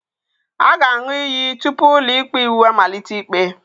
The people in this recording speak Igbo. A ga-aṅụ iyi tupu ụlọikpe iwu amalite ikpe